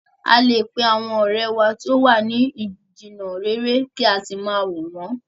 A lè pe àwọn ọ̀rẹ́ wa tí o wa ni jìnà réré kí a sì máa wò wọ̀n ọ́n.